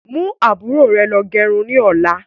Mú àbúrò rẹ lọ gẹrun ni ọ̀la.